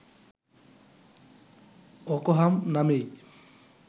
অকহাম নামেই